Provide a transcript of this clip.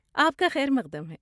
آپ کا خیر مقدم ہے۔